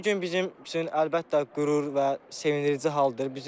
Bu gün bizim üçün əlbəttə qürur və sevindirici haldır.